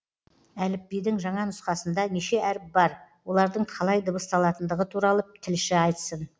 әліпбидің жаңа нұсқасында неше әріп бар олардың қалай дыбысталатындығы туралы тілші айтсын